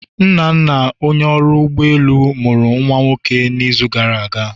Nnanna Onye ọrụ ụgbọ elu, mụrụ nwa nwoke n'izu gara aga.